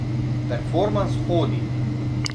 Performans Hodi.